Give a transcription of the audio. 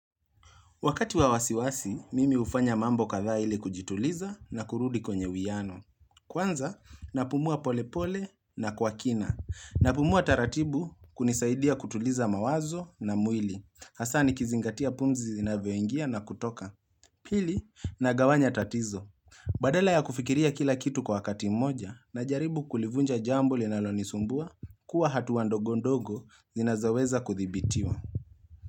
Wakati wawasiwasi, mimi hufanya mambo katha ile kujituliza na kurudi kwenye wiano. Kwanza, napumua polepole na kwa kina. Napumua taratibu kunisaidia kutuliza mawazo na mwili. Hasa nikizingatia punzi zinavyoingia na kutoka. Pili, nagawanya tatizo. Badela ya kufikiria kila kitu kwa wakati mmoja na jaribu kulivunja jambo linalonisumbua kuwa hatuwa ndogondogo zinazaweza kuthibitiwa.